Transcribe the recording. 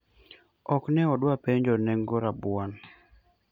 ok ne odwa penjo nengo rabuon